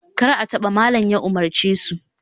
Kar a taba! malam ya umarce su